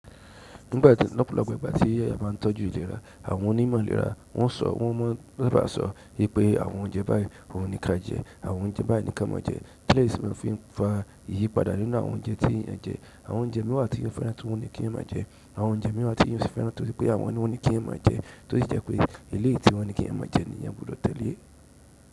Nígbà tí lọ́pùúla pẹ́, ìgbà tí yíyà máa ń tọ́jú ìlera, àwọn onímọ̀ ìlera wọn sọ, wọn máa ń sábà sọ wípé àwọn oúnjẹ báyìí ò ní ká jẹ, àwọn oúnjẹ báyìí ní ká má jẹ. Ikiyèsì fún ìfipá iyípadà nínú àwọn oúnjẹ tí yíyà jẹ. Àwọn oúnjẹ mìíràn tí ò fẹ́ràn tí wọn ní kí eyan má jẹ. Àwọn oúnjẹ mi wa ti eyan o si fẹ́ràn ti won ni ki eyan maa je to si je pe eleyi ti won ni ki e maa je le si gbudo tele.